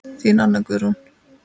Þín Anna Guðrún.